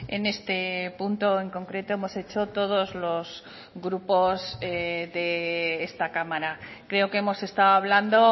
en este punto en concreto hemos hecho todos los grupos de esta cámara creo que hemos estado hablando